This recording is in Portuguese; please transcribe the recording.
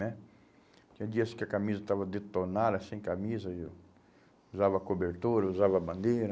né? Tinha dias que a camisa estava detonada, sem camisa, e eu usava cobertura, usava bandeira.